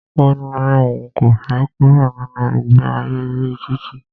Ó ní òun kò fẹ kúrò nínu ìgbe ayé orí títì.